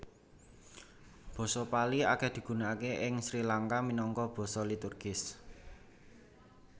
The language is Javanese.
Basa Pali akèh digunakaké ing Sri Langka minangka basa liturgis